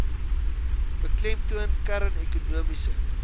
beklemtoon kern ekonomiese